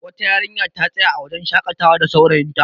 wata yarinya ta tsaya a wajen shakatda saurayinta